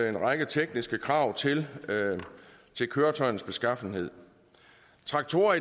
en række tekniske krav til køretøjernes beskaffenhed traktorer